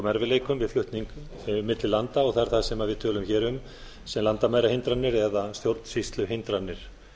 erfiðleikum við flutning milli landa það er það sem við tölum hér um sem landamærahindranir eða stjórnsýsluhindranir